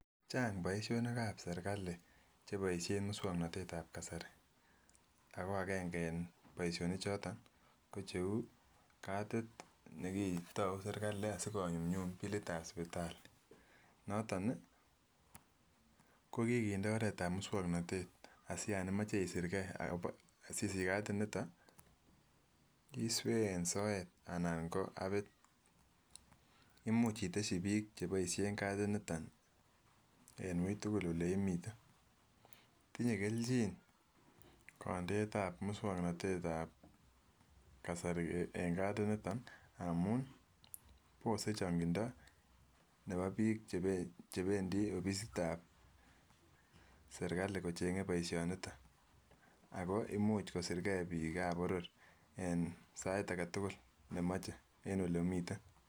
Chang boishonik ab serikali cheboishen muswoknotet ab kasari ako agenge en boishonik choton ko cheu kati nekitou sirkali asikonyumyum bilit ab sipitali, noton nii kokikindet oret ab muswoknotet asiyon imoche isir gee akobo sisich katit niton iswee en soet anan ko apit. Imuch iteshi bik cheboishen katit niton en wui tukul ole imiten, tinyee keljin kondet ab muswoknotet ab kasari en katit niton amun bose chongindo nebo bik chebe chependii offisit ab serikali kochenge boishoniton ako imuch kosir gee bik ab boror en sait agetukul nemoche en olemiten.